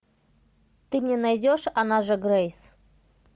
ты мне найдешь она же грейс